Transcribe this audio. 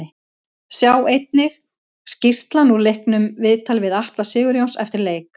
Sjá einnig: Skýrslan úr leiknum Viðtal við Atla Sigurjóns eftir leik